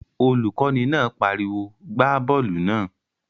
Olùkọ́ni náà pariwo "gbá bọ́ọ̀lù náà!"